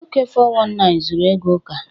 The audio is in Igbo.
Nwoke 419 zuru ego Uka.